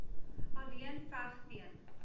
alleen veg teen